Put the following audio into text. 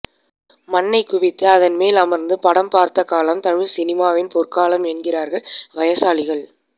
மண்ணை குவித்து அதன் மேல் அமர்ந்து படம் பார்த்த காலம் தமிழ்சினிமாவின் பொற்காலம் என்கிறார்கள் வயசாளிகள்